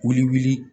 Wuli wuli